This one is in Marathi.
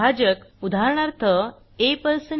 भाजक उदाहरणार्थ ab